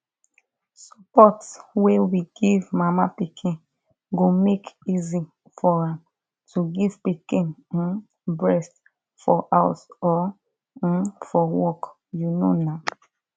support wey we give mama pikin go make easy for am to give pikin um breast for house or um for work you know na